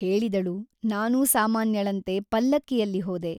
ಹೇಳಿದಳು ನಾನೂ ಸಾಮಾನ್ಯಳಂತೆ ಪಲ್ಲಕ್ಕಿಯಲ್ಲಿ ಹೋದೆ.